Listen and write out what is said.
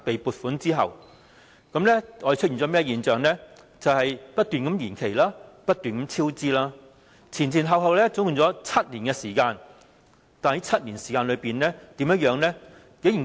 便是工程不斷延期、不斷超支，前後共花了7年時間，但這7年間的情況是怎樣的呢？